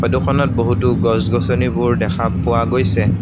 Photo খনত বহুতো গছ-গছনিবোৰ দেখা পোৱা গৈছে।